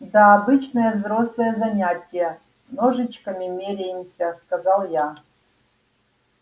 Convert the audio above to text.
да обычное взрослое занятие ножичками меряемся сказал я